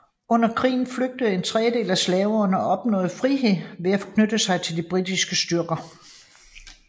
Under krigen flygtede en tredjedel af slaverne og opnåede frihed ved at knytte sig til de britiske styrker